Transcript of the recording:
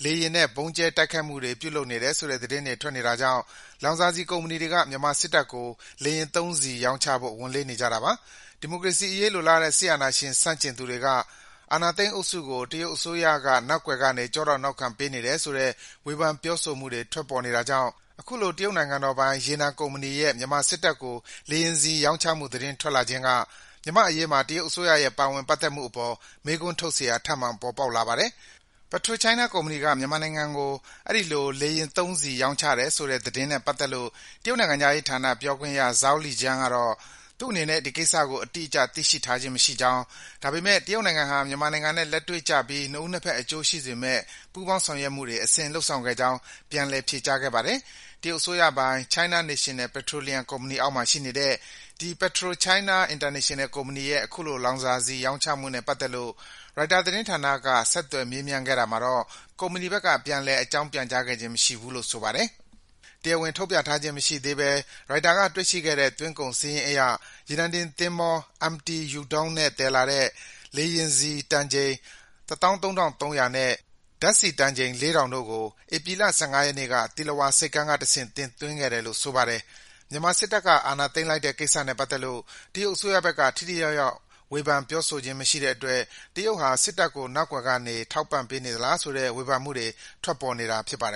က လေယာဉ်နဲ့ ဗုံးကြဲတိုက်ခိုက်မှုတွေ ပြုလုပ်နေတယ်ဆိုတဲ့ သတင်းတွေ ထွက်နေတာကြောင့် လောင်စာဆီကုမ္ပဏီတွေက မြန်မာစစ်တပ်ကို လေယာဉ်သုံးဆီ ရောင်းချဖို့ ဝန်လေးနေကြတာပါ။ ဒီမိုကရေစီအရေး လိုလားတဲ့ စစ်အာဏာရှင်ဆန့်ကျင်သူတွေက အာဏာသိမ်း စစ်အုပ်စုကို တရုတ်အစိုးရက နောက်ကွယ်ကနေ ကျောထောက်နောက်ခံပေးနေတယ်ဆိုတဲ့ ဝေဖန် ပြောဆိုမှုတွေ ထွက်ပေါ်နေတာကြောင့် အခုလို တရုတ်နိုင်ငံတော်ပိုင် ရေနံကုမ္ပဏီရဲ့ မြန်မာစစ်တပ်ကို လေယာဉ်ဆီ ရောင်းချမှု သတင်းထွက်ပေါ်လာခြင်းက မြန်မာ့အရေးမှာ တရုတ်အစိုးရရဲ့ ပါဝင် ပတ်သက်မှုအပေါ် မေးခွန်းထုတ်စရာ ထပ်မံ ပေါ်ပေါက်လာပါတယ်။ PetroChina ကုမ္ပဏီက မြန်မာနိုင်ငံကို အဲဒီလို လေယာဉ်သုံးဆီ ရောင်းချတယ်ဆိုတဲ့သတင်းနဲ့ပတ်သက်လို့ တရုတ်နိုင်ငံခြားရေးဌာန ပြောခွင့်ရ Zhao Lijiang ကတော့ - သူ့အနေနဲ့ ဒီကိစ္စကို အတိအကျ သိရှိထားခြင်းမရှိကြောင်း၊ ဒါပေမယ့် တရုတ်နိုင်ငံဟာ မြန်မာနိုင်ငံနဲ့ လက်တွေ့ကျပြီး နှစ်ဦးနှစ်ဖက် အကျိုးရှိစေမယ့် ပူးပေါင်းဆောင်ရွက်မှုတွေ အစဉ်လုပ်ဆောင်ခဲ့ကြောင်း ပြန်လည် ဖြေကြားခဲ့ပါတယ်။ တရုတ်အစိုးရပိုင် China National Petroleum ကုမ္ပဏီအောက်မှာ ရှိနေတဲ့ ဒီ PetroChina International ကုမ္ပဏီရဲ့ အခုလို လောင်စာဆီ ရောင်းချမှုနဲ့ပတ်သက်လို့ ရိုက်တာသတင်းဌာနက ဆက်သွယ်မေးမြန်းတာကို ကုမ္ပဏီဘက်က ပြန်လည် အကြောင်းပြန်ကြားခြင်း မရှိခဲ့ဘူးလို့ ဆိုပါတယ်။ တရားဝင်ထုတ်ပြန်ထားခြင်း မရှိသေးဘဲ ရိုက်တာက တွေ့ရှိခဲ့တဲ့ သွင်းကုန် စာရင်းအရ ရေနံတင်သင်္ဘော MT Yu Dong နဲ့ သယ်လာတဲ့ လေယာဉ်ဆီ တန်ချိန် ၁၃,၃၀၀ နဲ့ ဓါတ်ဆီ တန်ချိန် ၄,၀၀၀ တို့ကို ဧပြီလ ၁၅ ရက်နေ့က သီလဝါ ဆိပ်ကမ်းကတဆင့် တင်သွင်းခဲ့တယ်လို့ ဆိုပါတယ်။ မြန်မာနိုင်ငံမှာ စစ်တပ်ကအာဏာသိမ်းလိုက်တဲ့ ကိစ္စနဲ့ ပတ်သက်လို့ တရုတ်အစိုးရဘက်က ထိထိရောက်ရောက် ဝေဖန် ပြောဆိုခြင်း မရှိတဲ့အတွက် တရုတ်ဟာ စစ်တပ်ကို နောက်ကွယ်ကနေ ထောက်ပံ့ပေးနေသလားဆိုတဲ့ ဝေဖန်မှုတွေ ထွက်ပေါ်နေတာ ဖြစ်ပါတယ်